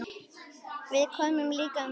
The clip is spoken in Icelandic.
Við komum líka með lausn.